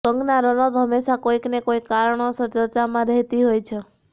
કંગના રનૌત હંમેશા કોઇકને કોઇક કારણોસર ચર્ચામાં રહેતી હોય છે